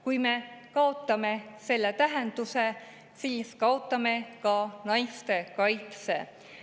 Kui me kaotame selle tähenduse, siis kaotame ka naiste kaitse.